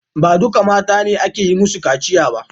Ba duka mata ne ake yi musu kaciya ba.